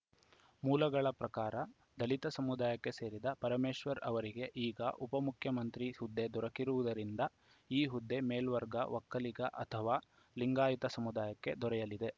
ಮೂಲಗಳ ಪ್ರಕಾರ ದಲಿತ ಸಮುದಾಯಕ್ಕೆ ಸೇರಿದ ಪರಮೇಶ್ವರ್‌ ಅವರಿಗೆ ಈಗ ಉಪ ಮುಖ್ಯಮಂತ್ರಿ ಹುದ್ದೆ ದೊರಕಿರುವುದರಿಂದ ಈ ಹುದ್ದೆ ಮೇಲ್ವರ್ಗ ಒಕ್ಕಲಿಗ ಅಥವಾ ಲಿಂಗಾಯತ ಸಮುದಾಯಕ್ಕೆ ದೊರೆಯಲಿದೆ